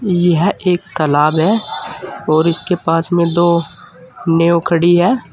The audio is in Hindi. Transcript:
यह एक तालाब है और इसके पास में दो नाव खड़ी है।